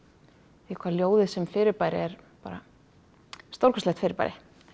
því hvað ljóðið sem fyrirbæri er bara stórkostlegt fyrirbæri